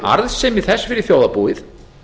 arðsemi þess fyrir þjóðarbúið